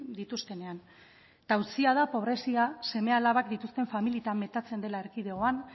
dituztenean eta auzia da pobrezia seme alabak dituzten famili eta metatzen dela erkidegoan